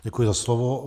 Děkuji za slovo.